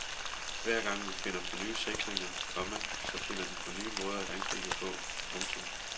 Hver gang vi finder på nye sikringer, komma så finder de på nye måder at angribe på. punktum